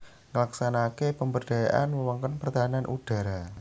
Nglaksanakaké pemberdayaan wewengkon pertahanan udhara